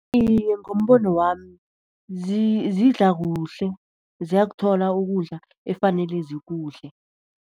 Iye, ngombono wami zidla kuhle, ziyakuthola ukudla efanele zikudle.